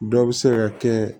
Dɔ bɛ se ka kɛ